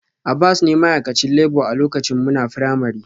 Abbas ne ma'aikacin labour a lokacin muna firamare